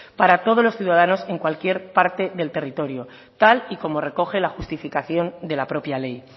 para todos los ciudadanos en cualquier parte del territorio tal y como recoge la justificación de la propia ley